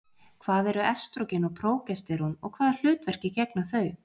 Hvað eru estrógen og prógesterón og hvaða hlutverki gegna þau?